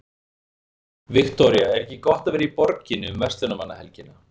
Viktoría: Er gott að vera í borginni um verslunarmannahelgina?